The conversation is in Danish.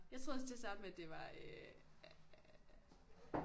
Jeg troede også til at starte med at det var øh